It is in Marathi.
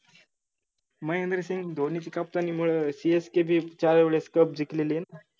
महेंद्रसिंग धोनीची captan नीमुळं CSK बी चार वेडेस cup जिकलेली आय न